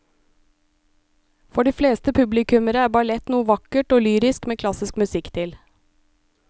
For de fleste publikummere er ballett noe vakkert og lyrisk med klassisk musikk til.